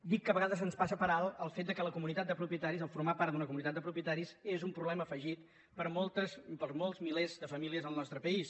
dic que a vegades ens passa per alt el fet que la comunitat de propietaris formar part d’una comunitat de propietaris és un problema afegit per a molts milers de famílies al nostre país